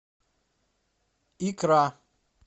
икра